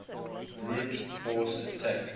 brute force attack